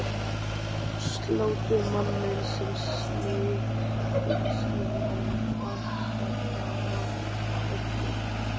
Sláttumanninn sem sneið þyngslin og vankantana af öllu.